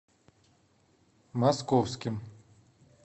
московским